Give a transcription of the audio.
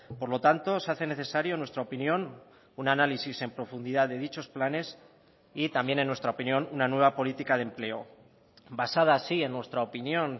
por lo tanto se hace necesario en nuestra opinión un análisis en profundidad de dichos planes y también en nuestra opinión una nueva política de empleo basada sí en nuestra opinión